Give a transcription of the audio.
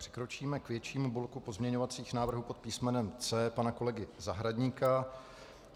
Přikročíme k většímu bloku pozměňovacích návrhů pod písmenem C pana kolegy Zahradníka.